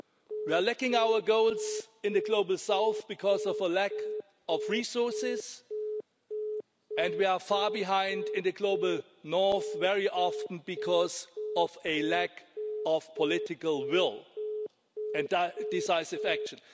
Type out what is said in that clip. We are missing our goals in the global south because of a lack of resources, and we are far behind in the global north, in many cases because of a lack of political will and decisive action.